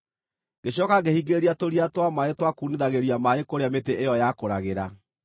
Ngĩcooka ngĩhingĩrĩria tũria twa maaĩ twa kuunithagĩria maaĩ kũrĩa mĩtĩ ĩyo yakũragĩra.